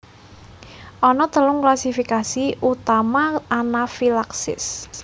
Ana telung klasifikasi utama anafilaksis